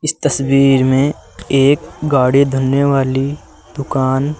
इस तस्वीर में एक गाड़ी धुलने वाली दुकान --